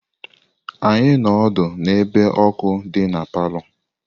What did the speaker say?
Anyị nnọdụ n'ebe ọkụ dị na palọ.